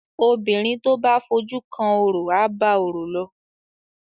obìrin to bá fojú kan ọrọ aba ọrọ ló.